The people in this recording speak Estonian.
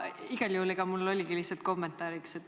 Aga mul oligi lihtsalt kommentaar.